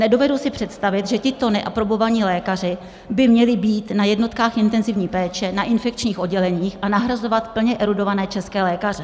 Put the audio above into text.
Nedovedu si představit, že tito neaprobovaní lékaři by měli být na jednotkách intenzivní péče, na infekčních odděleních a nahrazovat plně erudované české lékaře.